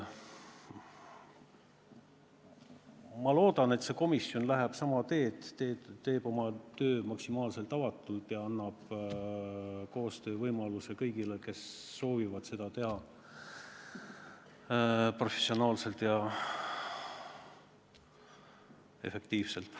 Ma loodan, et see komisjon läheb sama teed: teeb oma tööd maksimaalselt avatult ja annab koostöövõimaluse kõigile, kes soovivad seda teha professionaalselt ja efektiivselt.